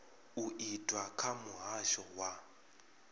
u itwa kha muhasho wa